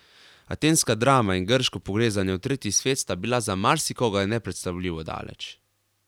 Atenska drama in grško pogrezanje v tretji svet sta bila za marsikoga nepredstavljivo daleč.